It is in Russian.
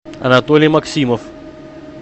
анатолий максимов